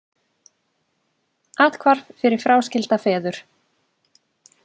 Athvarf fyrir fráskilda feður